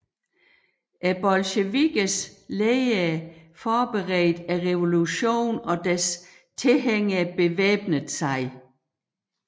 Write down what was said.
Bolsjevikkernes ledere forberedte revolutionen og deres tilhængere bevæbnede sig